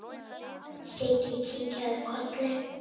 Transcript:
Siggi kinkaði kolli.